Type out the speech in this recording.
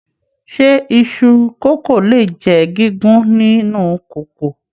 Ṣe iṣu kókó le jẹ gígùn nínú kòkò?